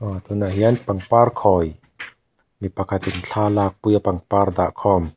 a tunah hian pangpar khawi mi pakhat in thla a lakpui a pangpar dah khawm.